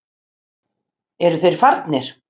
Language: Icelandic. Eru þeir farnir?